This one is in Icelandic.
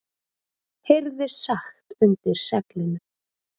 heyrðist sagt undir seglinu.